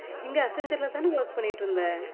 இங்க அக்ஸென்சர்ல தானே work பண்ணிட்டு இருந்தே